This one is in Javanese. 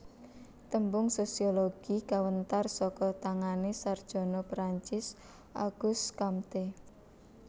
Tembung sosiologi kawentar saka tangané sarjana Perancis August Comte